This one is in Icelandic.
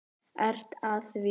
Ertu að því?